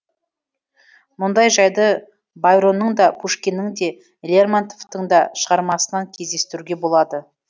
мұндай жайды байронның да пушкиннің де лермонтовтың да шығармасынан кездестіруге болады